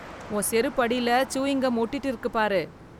உன் செருப்பு அடில சூயிங் கம் ஓட்டிட்டு இருக்கு பாரு.